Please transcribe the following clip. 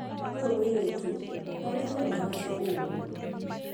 ũyũ Mũiritu agũire mathabu ũũru